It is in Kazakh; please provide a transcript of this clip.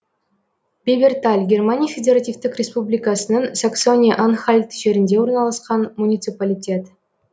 беберталь германия федеративтік республикасының саксония анхальт жерінде орналасқан муниципалитет